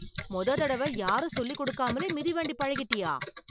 முத தடவ யாரும் சொல்லி கொடுக்காமலே மிதிவண்டி பழகிட்டயா.